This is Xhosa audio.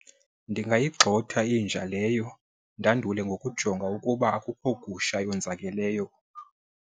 Ndingayixhoma inja leyo ndandule ngokujonga ukuba akukho gusha yonzakeleyo.